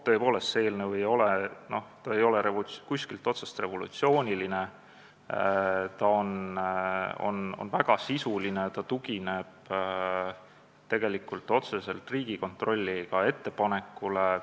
Tõepoolest, see eelnõu ei ole kuskilt otsast revolutsiooniline, ta on väga sisuline, ta tugineb otseselt Riigikontrolli ettepanekule.